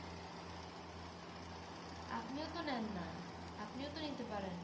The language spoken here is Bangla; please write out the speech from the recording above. আপনিও তো নেন না, আপনিও তো নিতে পারেন